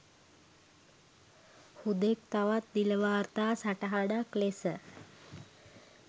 හුදෙක් තවත් නිල වාර්තා සටහනක් ලෙස